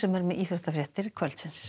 er með íþróttafréttir kvöldsins